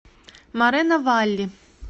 морено валли